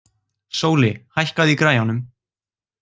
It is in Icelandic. Sóli, hækkaðu í græjunum.